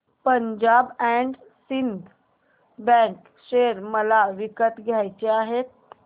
Punjab and Sindh bank share मला विकत घ्यायचे आहेत